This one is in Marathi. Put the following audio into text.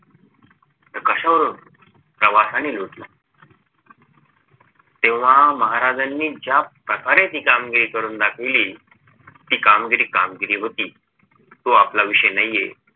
तर कशावरून प्रवासाने लुटला तेव्हा महाराजांनी ज्या प्रकारे ती कामगिरी करुण दाखविली ती कामगिरी कामगिरी होती तो आपला विषय नाहीये